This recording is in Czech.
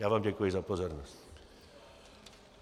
Já vám děkuji za pozornost.